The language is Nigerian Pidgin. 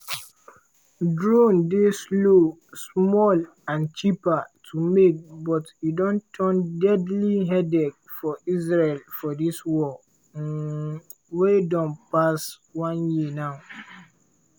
drone dey slow small and cheaper to make but e don turn deadly headache for israel for dis war um wey don pass one year now.